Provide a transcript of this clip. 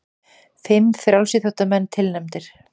Fimm frjálsíþróttamenn tilnefndir